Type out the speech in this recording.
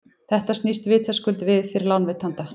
þetta snýst vitaskuld við fyrir lánveitanda